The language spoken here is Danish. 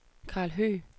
Karl Høgh